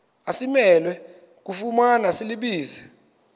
asimelwe kufumana silibize